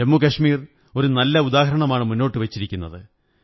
ജമ്മു കശ്മീർ ഒരു നല്ല ഉദാഹരണമാണ് മുന്നോട്ടു വച്ചിരിക്കുന്നത്